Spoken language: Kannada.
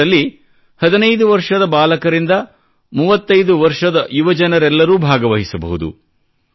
ಇದರಲ್ಲಿ 15 ವರ್ಷದ ಬಾಲಕರಿಂದ 35 ವರ್ಷದ ಯುವಜನರೆಲ್ಲರೂ ಭಾಗವಹಿಸಬಹುದು